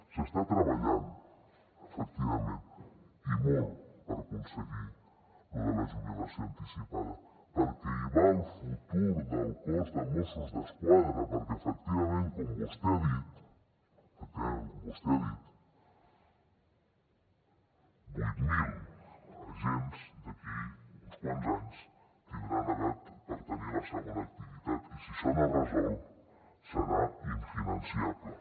s’està treballant efectivament i molt per aconseguir lo de la jubilació anticipada perquè hi va el futur del cos de mossos d’esquadra perquè efectivament com vostè ha dit vuit mil agents d’aquí uns quants anys tindran edat per tenir la segona activitat i si això no es resol serà infinançable